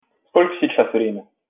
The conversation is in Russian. сколько сейчас время